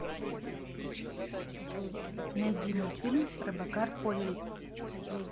найди мультфильм робокар полли